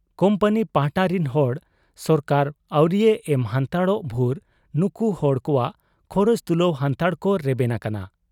Company ᱯᱟᱦᱴᱟ ᱨᱤᱱ ᱦᱚᱲ ᱥᱚᱨᱠᱟᱨ ᱟᱹᱣᱨᱤᱭᱮ ᱮᱢ ᱦᱟᱱᱛᱟᱲᱚᱜ ᱵᱷᱩᱨ ᱱᱩᱠᱩ ᱦᱚᱲ ᱠᱚᱣᱟᱜ ᱠᱷᱚᱨᱚᱪ ᱛᱩᱞᱟᱹᱣ ᱦᱟᱱᱛᱟᱲ ᱠᱚ ᱨᱮᱵᱮᱱ ᱟᱠᱟᱱᱟ ᱾